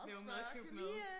Lave madklub med